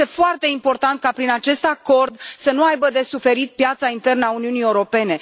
Este foarte important ca prin acest acord să nu aibă de suferit piața internă a Uniunii Europene.